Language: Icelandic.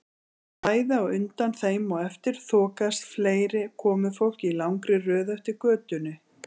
Bæði á undan þeim og eftir þokaðist fleira komufólk í langri röð eftir götunni.